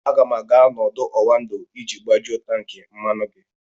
Aga m aga n'ọdụ̀ Oando iji gbajuo tankị mmanụ gị.